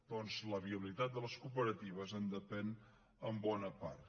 doncs la viabilitat de les cooperatives en depèn en bona part